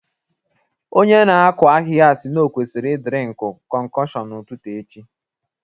Onye na-akụ ahịhịa sị na o kwesịrị ị drinkụ concoction n'ụtụtụ echi